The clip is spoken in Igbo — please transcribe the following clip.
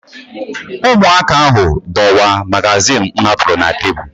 Ụmụaka ahụ dọwaa magazin m hapụrụ na tebụl